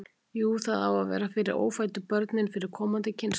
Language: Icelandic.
Jú, það á að vera fyrir ófæddu börnin, fyrir komandi kynslóðir.